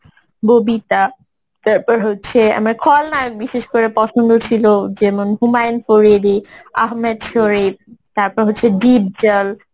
ববিতা তারপর হচ্ছে আমার খলনায়ক বিশেষ করে পছন্দ ছিল যেমন হুমায়ুন পরেদি, আহমেদ শরিফ তারপর হচ্ছে ডিপজল